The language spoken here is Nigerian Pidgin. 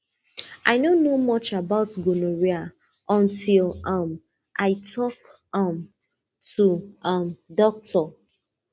i no know much about gonorrhea until um i talk um to um doctor